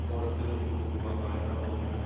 қоректену құрылғылары дайындалып отыр